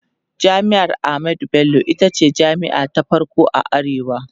jami'ar ahmadu Bello itace jami'a ta farko a arewa